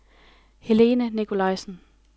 Helene Nicolaisen